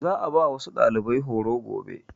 Za a ba wasu ɗalibai horo gobe.